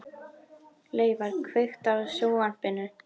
Laufar, kveiktu á sjónvarpinu.